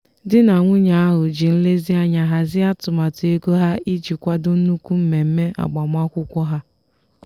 di na nwunye ahụ ji nlezianya hazie atụmatụ ego ha iji kwado nnukwu mmemme agbamakwụkwọ ha.